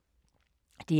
DR2